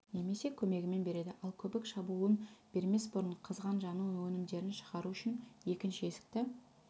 немесе көмегімен береді ал көбік шабуылын бермес бұрын қызған жану өнімдерін шығару үшін екінші есікті